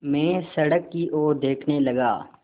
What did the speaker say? मैं सड़क की ओर देखने लगा